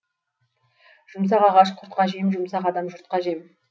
жұмсақ ағаш құртқа жем жұмсақ адам жұртқа жем